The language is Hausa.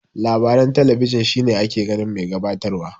Labaran talabijin shine ake ganin mai gabatar wa.